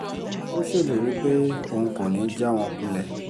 ó ṣèlérí pé òun kò ní í já wọn kulẹ̀